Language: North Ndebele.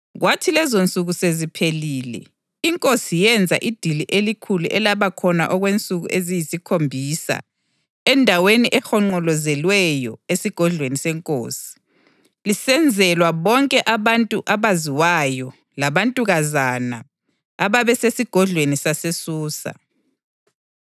Kwathi lezonsuku seziphelile, inkosi yenza idili elikhulu elabakhona okwensuku eziyisikhombisa, endaweni ehonqolozelweyo esigodlweni senkosi, lisenzelwa bonke abantu abaziwayo labantukazana ababesesigodlweni saseSusa.